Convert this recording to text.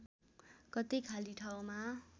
कतै खाली ठाउँमा